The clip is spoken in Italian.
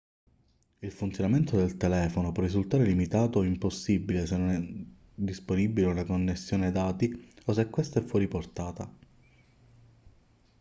il funzionamento del telefono può risultare limitato o impossibile se non è disponibile una connessione dati o se questa è fuori portata